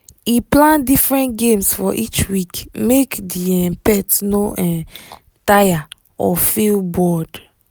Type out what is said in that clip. he plan different games for each week make the um pet no um tire or feel bored.